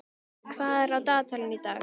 Blævar, hvað er á dagatalinu í dag?